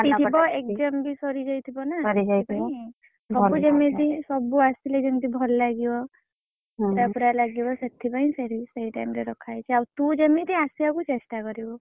ଛୁଟି ଥିବ exam ବି ସରିଯାଇଥିବ ନା ସେଥିପାଇଁ ଘରକୁ ଯେମିତି ସବୁ ଆସିଲେ ଯେମିତି ଭଲ ଲାଗିବ ପୁରା ପୁରା ଲାଗିବ ସେଥିପାଇଁ ସେଇ time ରେ ରଖା ହେଇଛି ଆଉ ତୁ ଯେମିତି ଆସିବା ପାଇଁ ଚେଷ୍ଟା କରିବୁ।